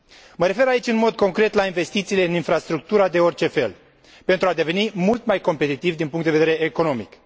Mă refer aici, în mod concret, la investițiile în infrastructura de orice fel, pentru a deveni mult mai competitivi din punct de vedere economic.